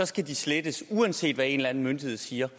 skal de slettes uanset hvad en eller anden myndighed siger